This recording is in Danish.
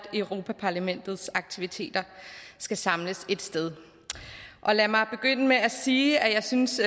europa parlamentets aktiviteter skal samles ét sted lad mig begynde med at sige at jeg synes